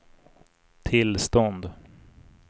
tillstånd